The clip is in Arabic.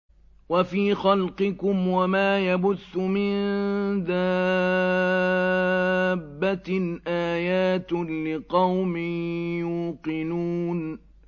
وَفِي خَلْقِكُمْ وَمَا يَبُثُّ مِن دَابَّةٍ آيَاتٌ لِّقَوْمٍ يُوقِنُونَ